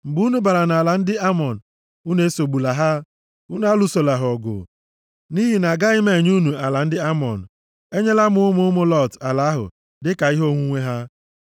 Mgbe unu bara nʼala ndị Amọn, unu esogbula ha, unu alụsola ha ọgụ, nʼihi na agaghị m enye unu ala ndị Amọn. Enyela m ụmụ ụmụ Lọt ala ahụ dịka ihe onwunwe ha.”